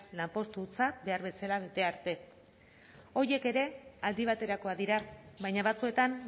lanpostutzat behar bezala bete arte horiek ere aldi baterakoak dira baina batzuetan